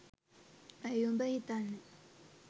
ඇ‍යි උඹ හිතන්නේ